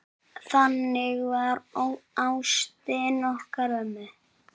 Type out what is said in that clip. Þannig var ástin okkar ömmu.